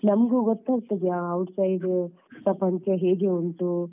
ಸ್ವಲ್ಪ ನಮ್ಗೂ ಗೊತ್ತಾಗ್ತದೆ ಆ outside hostel ಪ್ರಪಂಚ ಹೇಗೆ ಉಂಟು